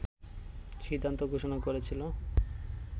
সিদ্ধান্ত ঘোষণা করেছিল